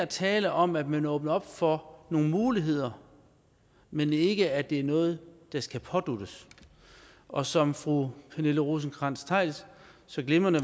tale om at man åbner op for nogle muligheder men ikke for at det er noget der skal påduttes og som fru pernille rosenkrantz theil så glimrende